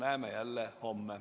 Näeme jälle homme.